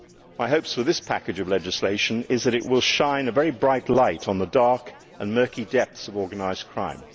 My hope with this package of legislation is that it will shine a very bright light on the dark and murky depths of organised crime.